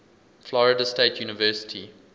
florida state university